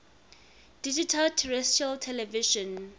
digital terrestrial television